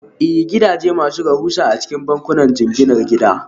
Ee, gidaje masu rahusa a cikin bankunan jinginar gida